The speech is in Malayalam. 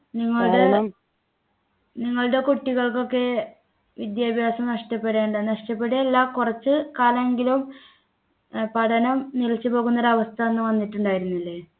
നിങ്ങളുടെ നിങ്ങളുടെ കുട്ടികൾക്കൊക്കെ വിദ്യാഭ്യാസം നഷ്ടപ്പെടെണ്ട നഷ്ടപ്പെടുകയല്ല കുറച്ച് കാലം എങ്കിലും ഏർ പഠനം നിലച്ചു പോകുന്ന ഒരു അവസ്ഥ അന്ന് വന്നിട്ടുണ്ടായിരുന്നില്ലേ